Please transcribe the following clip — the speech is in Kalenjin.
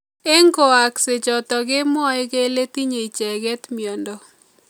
Eng kwaaksei chotok kemwoei kele tinye icheket mnyendo.